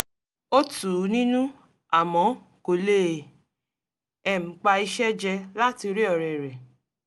ó tù ú nínú àmọ́ kò lè um pa iṣẹ́ jẹ láti rí ọ̀rẹ́ rẹ̀